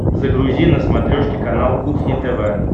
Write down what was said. загрузи на смотрешке канал кухня тв